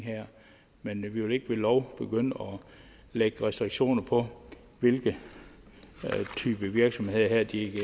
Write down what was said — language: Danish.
men vi vil ikke ved lov begynde at lægge restriktioner på hvilke typer virksomheder de